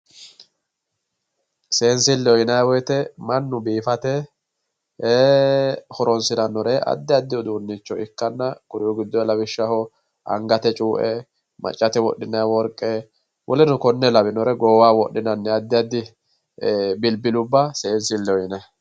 Seensileho yinnanni woyte mannu biifate e"ee horonsiranore addi addi uduunicho ikkanna kuri'u giddo lawishshaho angate cuue maccate wodhinanni worqe woleno konne lawinore goowaho wodhinannire addi addi bilibilubba seensileho yinnanni.